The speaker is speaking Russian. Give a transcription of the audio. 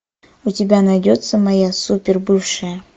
у тебя найдется моя супер бывшая